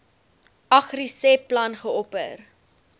agriseb plan geopper